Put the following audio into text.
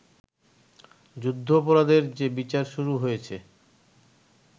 যুদ্ধাপরাধাদের যে বিচার শুরু হয়েছে